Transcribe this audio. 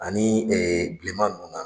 Ani bilema ninnu